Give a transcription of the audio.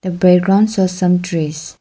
the background has some trees.